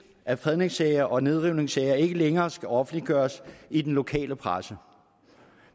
at fredningssager og nedrivningssager ikke længere skal offentliggøres i den lokale presse